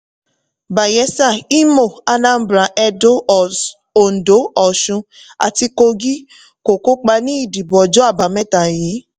bayelsa imo anambra edo ondo osun àti kogi kò kópa ní ìdìbò ọjọ́ àbámẹ́ta yí.